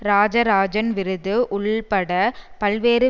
இராசராசன் விருது உள்பட பல்வேறு